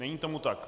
Není tomu tak.